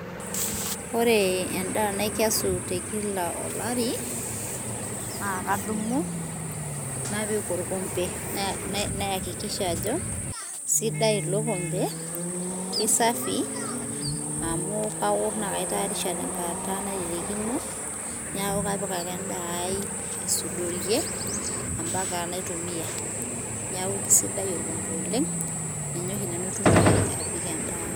ore endaa naikesu tekila olari ,na kadumu napik olkombe, nayakikisha ajo kisidai ilo kombe isafi amu aorr na kaitarisha tenkata nairirikino niaku kapik ake endaa ai, aisudorie, ampaka naitumia, niaku kisidai olkombe oleng, ninye oshi nanu aitumia apik endaa ai.